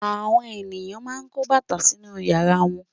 Àwọn ènìyàn máa ń kó bàtà sínú ìyàrá wọn.